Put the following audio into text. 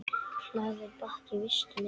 Hlaðinn bakki vistum er.